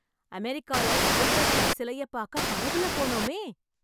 அமெரிக்கால சுதந்திர தேவி சிலையை பார்க்க படகுல போனோமே...